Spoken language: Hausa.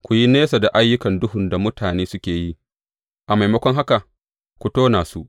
Ku yi nesa da ayyukan duhun da mutane suke yi, a maimakon haka, ku tona su.